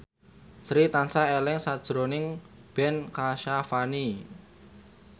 Sri tansah eling sakjroning Ben Kasyafani